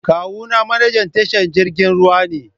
Kawuna manajan tashar jiragen ruwa ne